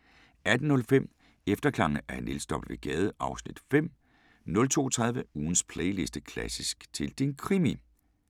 18:05: Efterklange af Niels W. Gade (Afs. 5) 02:30: Ugens playliste: Klassisk til din krimi